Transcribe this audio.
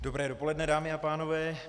Dobré dopoledne, dámy a pánové.